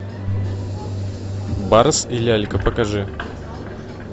барс и лялька покажи